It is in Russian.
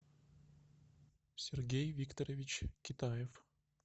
сергей викторович китаев